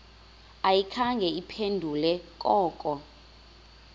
ayikhange iphendule koko